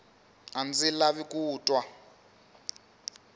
a ndzi lavi ku twa